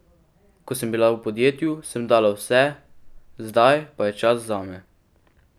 Ko sem bila v podjetju, sem dala vse, zdaj pa je čas zame.